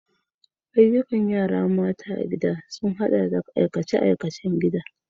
Ayyukan yara mata a gida sun haɗa da aikace-aikacen gida.